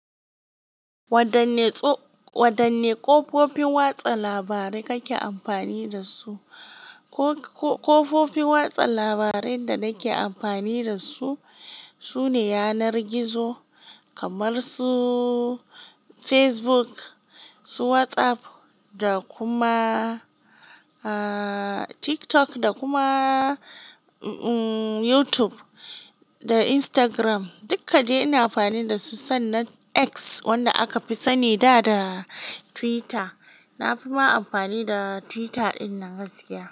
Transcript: Wadanne ƙofofin watsa labarai kake amfani dasu? Ƙofofi watsa labarai da nake amfani dasu sune yanar gizo kamar su Facebook, su WhatsApp da kuma TikTok da kuma YouTube da Instagram. Dukkade ina amfani dasu sannan X wanda aka fi sani da da Twitter. Na fi ma amfani da Twitter dinnan gaskiya.